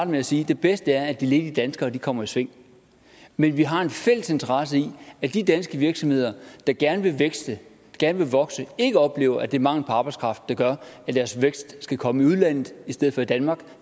med at sige at det bedste er at de ledige danskere kommer i sving men vi har en fælles interesse i at de danske virksomheder der gerne vil vækste gerne vil vokse ikke oplever at det er mangel på arbejdskraft der gør at deres vækst skal komme i udlandet i stedet for i danmark